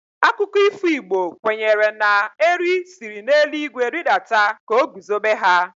Akụkọ ifo Igbo kwenyere na Eri siri n'elu igwe ridata ka o guzobe ha.